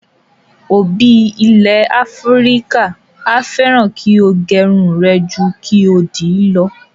Òbí ilẹ̀ Áfíríkà a fẹ́ràn kí o gẹrun rẹ ju kí o dì í lọ.